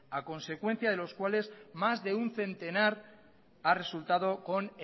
a consecuencia de los cuales más de un centenar ha resultado con